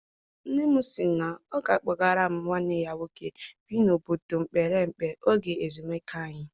Nne m sị na ọ ga a kpọgara m nwanne ya nwoke bi n'obodo mepere emepe oge ezumike anyị.